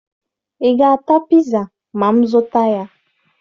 Ị ga-ata piza ma m zụta ya?